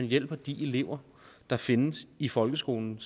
hjælper de elever der findes i folkeskolen